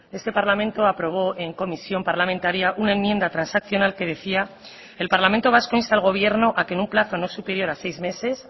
este parlamento aprobó en comisión parlamentaria una enmienda transaccional que decía el parlamento vasco insta al gobierno a que en un plazo no superior a seis meses